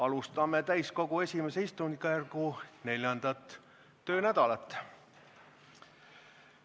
Alustame täiskogu I istungjärgu 4. töönädalat.